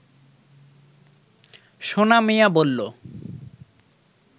সোনা মিয়া বলল